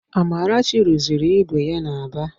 Amarachi rụziri ígwè ya n'Aba